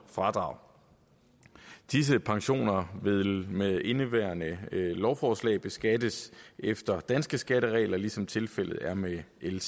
fradrag disse pensioner vil med indeværende lovforslag beskattes efter danske skatteregler ligesom tilfældet er med l